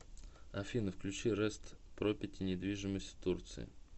афина включи рэст пропети недвижимость в турции